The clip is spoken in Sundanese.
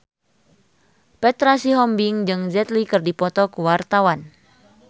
Petra Sihombing jeung Jet Li keur dipoto ku wartawan